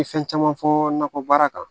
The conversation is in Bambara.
N ye fɛn caman fɔ nakɔ baara kan